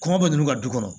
Kɔngɔ bɛ nunnu ka du kɔnɔ